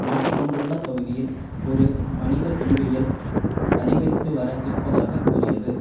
மாட்டிக்கொண்டுள்ள பகுதியில் ஒரு மனித துன்பியல் அதிகரித்து வர இருப்பதாக கூறியது